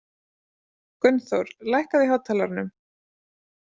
Gunnþór, lækkaðu í hátalaranum.